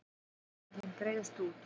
Eyðileggingin breiðist út